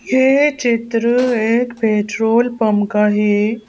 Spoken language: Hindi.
ये चित्र एक पेट्रोल पंप का है।